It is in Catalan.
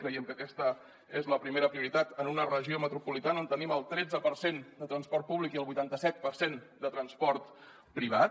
creiem que aquesta és la primera prioritat en una regió metropolitana on tenim el tretze per cent de transport públic i el vuitanta set per cent de transport privat